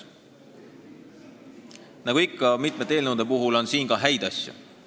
Nagu ikka paljude eelnõude puhul, on selleski häid asju.